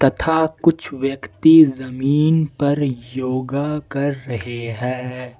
तथा कुछ व्यक्ति जमीन पर योगा कर रहे हैं।